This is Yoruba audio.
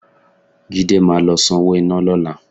Jídé máa lọ sanwó iná lọ́la